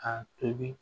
K'a tobi